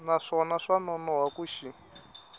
naswona swa nonoha ku xi